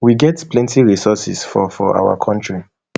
we get plenty resources for for our kontri